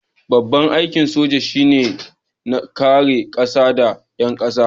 Babban aikin soja shi ne kare kasa da 'yan kasa.